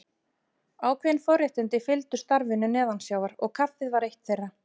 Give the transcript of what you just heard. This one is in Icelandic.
Ákveðin forréttindi fylgdu starfinu neðansjávar og kaffið var eitt þeirra.